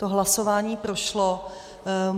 To hlasování prošlo.